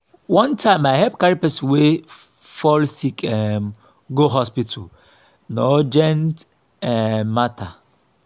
one time i help carry person wey fall sick um go hospital na urgent um matter.